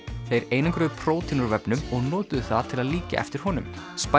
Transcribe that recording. þeir einangruðu prótín úr vefnum og notuðu það til að líkja eftir honum